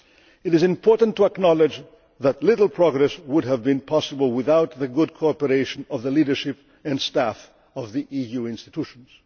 Union. It is important to acknowledge that little progress would have been possible without the good cooperation of the leadership and staff of the EU institutions.